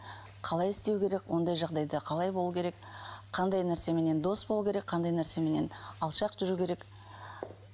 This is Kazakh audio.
қалай істеу керек ондай жағдайда қалай болу керек қандай нәрсеменен дос болу керек қандай нәрсеменен алшақ жүру керек